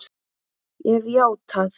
Ég hef játað.